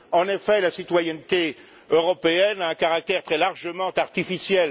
En effet, la citoyenneté européenne a un caractère très largement artificiel.